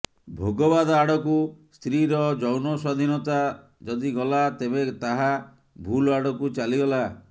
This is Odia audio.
ଭୋଗବାଦ ଆଡ଼କୁ ସ୍ତ୍ରୀର ଯୌନ ସ୍ୱାଧୀନତା ଯଦି ଗଲା ତେବେ ତାହା ଭୁଲଆଡ଼କୁ ଚାଲିଗଲା